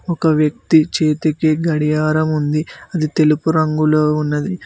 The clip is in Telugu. ఒక వ్యక్తి చేతికి గడియారం ఉంది అది తెలుపు రంగులో ఉన్నది.